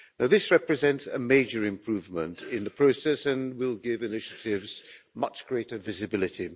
Now this represents a major improvement in the process and will give initiatives much greater visibility.